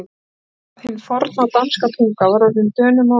Hvað um það, hin forna danska tunga var orðin Dönum og